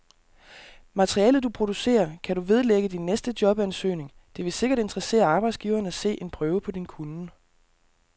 Materialet, du producerer, kan du vedlægge din næste jobansøgning, det vil sikkert interessere arbejdsgiveren at se en prøve på din kunnen.